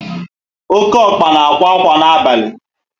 Oké ọkpa na ákwà ákwà na abalị